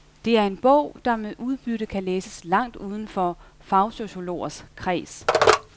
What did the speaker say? Det er en bog, der med udbytte kan læses langt uden for fagsociologers kreds.